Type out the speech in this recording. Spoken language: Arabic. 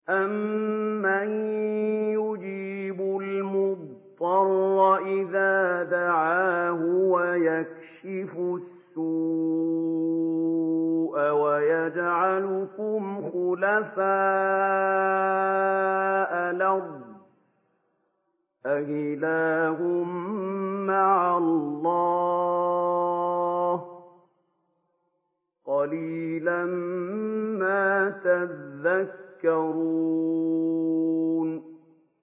أَمَّن يُجِيبُ الْمُضْطَرَّ إِذَا دَعَاهُ وَيَكْشِفُ السُّوءَ وَيَجْعَلُكُمْ خُلَفَاءَ الْأَرْضِ ۗ أَإِلَٰهٌ مَّعَ اللَّهِ ۚ قَلِيلًا مَّا تَذَكَّرُونَ